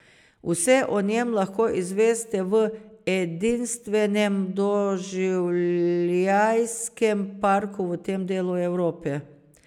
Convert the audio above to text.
Vse o njem lahko izveste v edinstvenem doživljajskem parku v tem delu Evrope.